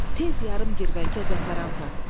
Tez yarım girvəngə zəfəran tap.